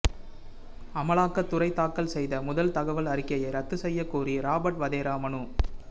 அமலாக்கத்துறை தாக்கல் செய்த முதல் தகவல் அறிக்கையை ரத்து செய்யக்கோரி ராபர்ட் வதேரா மனு